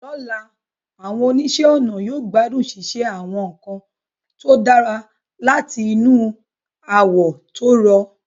Lọ́la, àwọn oníṣẹ́-ọnà yóò gbádùn ṣíṣe àwọn nǹkan tó dára láti inú awọ tó rọ̀.